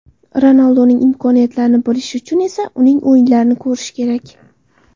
Ronalduning imkoniyatlarini bilishi uchun esa uning o‘yinlarini ko‘rishi kerak.